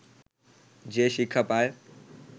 যে শিক্ষা পায়